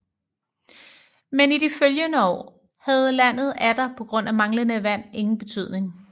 Men i de følgende år havde landet atter på grund af manglende vand ingen betydning